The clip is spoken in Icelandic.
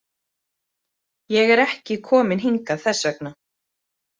Ég er ekki kominn hingað þess vegna.